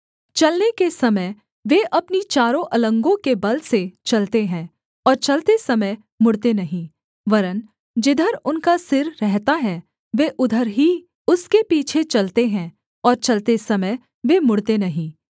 चलने के समय वे अपनी चारों अलंगों के बल से चलते हैं और चलते समय मुड़ते नहीं वरन् जिधर उनका सिर रहता है वे उधर ही उसके पीछे चलते हैं और चलते समय वे मुड़ते नहीं